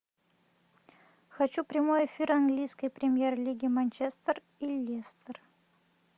хочу прямой эфир английской премьер лиги манчестер и лестер